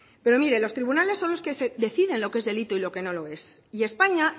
pero mire los tribunales son los que definen lo que es delito y lo que no lo es y españa